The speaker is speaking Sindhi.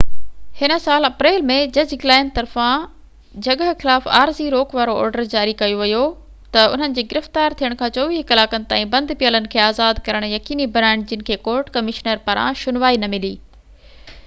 هن سال اپريل ۾ جج گلائن طرفان جڳهه خلاف عارضي روڪ وارو آرڊر جاري ڪيو ويو ته انهن جي گرفتار ٿين کان 24 ڪلاڪن تائين بند پيلن کي آزاد ڪرڻ يقيني بنائن جن کي ڪورٽ ڪمشنر پاران شنوائي نه ملي